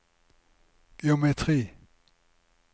geometri